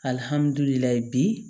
bi